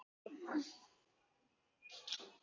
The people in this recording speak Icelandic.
Komdu og fáðu þér bollur.